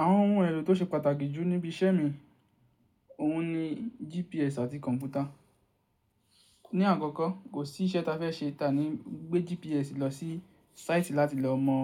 Àwọn ohun èlò tó ṣe pàtàkì jù níbi iṣẹ́ mi, òun ni GPS àti kọ̀ǹpútà. Ni àkọ́kọ́ kò sí iṣẹ́ ta fẹ́ ṣe, ta ni gbé GPS lọ sí site láti lọ mọ